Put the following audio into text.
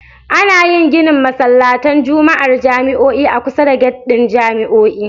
Ana yin ginin masallatan Juma'ar jami'o'i a kusa da gyat ɗin jami'o'i